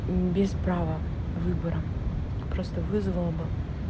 без права выбора просто вызвала бы